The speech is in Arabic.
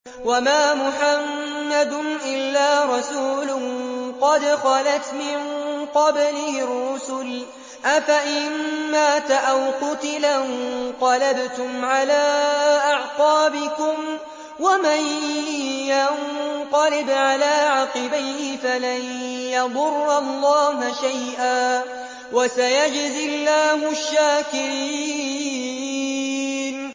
وَمَا مُحَمَّدٌ إِلَّا رَسُولٌ قَدْ خَلَتْ مِن قَبْلِهِ الرُّسُلُ ۚ أَفَإِن مَّاتَ أَوْ قُتِلَ انقَلَبْتُمْ عَلَىٰ أَعْقَابِكُمْ ۚ وَمَن يَنقَلِبْ عَلَىٰ عَقِبَيْهِ فَلَن يَضُرَّ اللَّهَ شَيْئًا ۗ وَسَيَجْزِي اللَّهُ الشَّاكِرِينَ